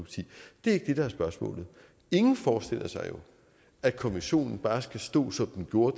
det ikke er det der er spørgsmålet ingen forestiller sig jo at konventionen bare skal stå som den gjorde